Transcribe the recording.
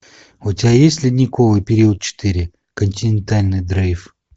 у тебя есть ледниковый период четыре континентальный дрейф